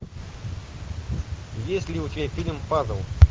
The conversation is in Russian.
есть ли у тебя фильм паззл